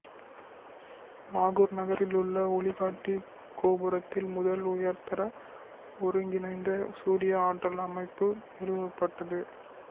லாகூர் நகரில் உள்ள ஒளிகாட்டி கோபுரத்தில் முதல் உயர்தர ஒருங்கிணைந்த சூரிய ஆற்றல் அமைப்பு நிறுவப்பட்டது